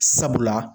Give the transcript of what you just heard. Sabula